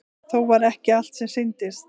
Þó var ekki allt sem sýndist.